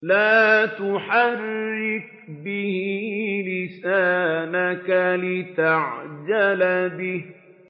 لَا تُحَرِّكْ بِهِ لِسَانَكَ لِتَعْجَلَ بِهِ